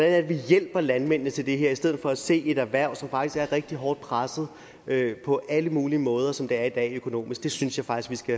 at vi hjælper landmændene til det her i stedet for at se et erhverv som faktisk er rigtig hårdt presset på alle mulige måder som det er i dag økonomisk det synes jeg faktisk vi